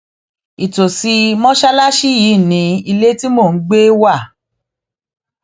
ìtòsí mọṣáláṣí yìí ní ilé tí mò ń gbé wá